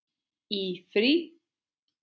Í frí.